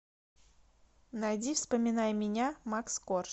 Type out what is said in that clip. найди вспоминай меня макс корж